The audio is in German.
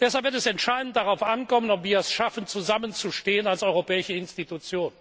Deshalb wird es entscheidend darauf ankommen, ob wir es schaffen, als europäische Institutionen zusammenzustehen,